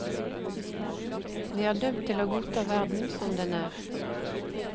Vi er dømt til å godta verden som den er.